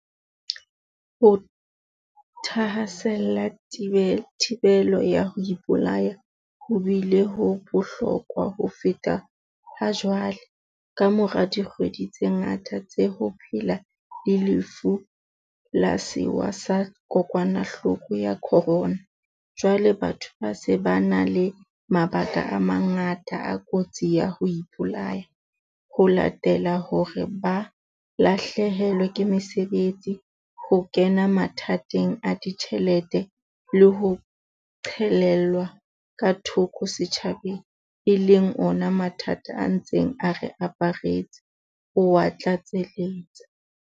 Ho thahasella thibelo ya ho ipolaya ho bile ho bohlokwa ho feta hajwale, kamora dikgwedi tse ngata tsa ho phela le Lefu la Sewa sa Kokwanahloko ya Corona, jwale batho ba se ba na le mabaka a mangata a kotsi ya ho ipolaya, ho latela hore ba lahlehelwe ke mesebetsi, ho kena mathateng a ditjhelete le ho qhelelwa ka thoko setjhabeng, e leng ona mathata a ntseng a re aparetse, oa tlatseletsa.